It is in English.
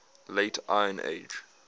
late iron age